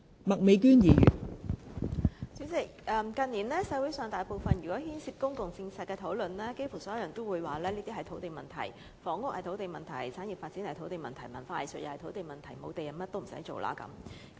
代理主席，近年社會上每有牽涉公共政策的討論，差不多所有人也會說是土地問題：房屋是土地問題，產業發展是土地問題，文化藝術是土地問題，沒有土地便甚麼也不用做了。